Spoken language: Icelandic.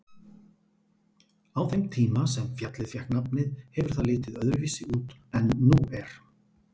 Á þeim tíma sem fjallið fékk nafnið hefur það litið öðruvísi út en nú er.